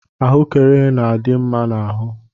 Ahuekere na adị mma n'ahụ.